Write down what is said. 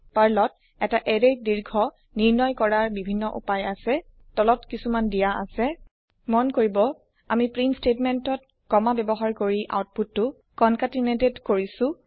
পাৰ্লত এটা এৰেয়ৰ দীৰ্ঘ নিৰ্ণয় কৰাৰ বিভিন্ন উপায় আছে তলত কিছুমান দিয়া আছে মন কৰিব আমি প্ৰীন্ট স্টেটমেন্টত কমা ব্যৱহাৰ কৰি আওতপুতটো কনকেটেনেটেড কৰিছো